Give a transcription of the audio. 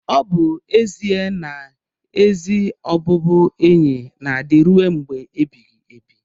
ọ bụ ezie na ezi ọbụbụenyi na-adị rue mgbe ebighị ebi.